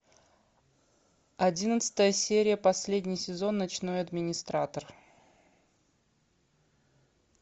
одиннадцатая серия последний сезон ночной администратор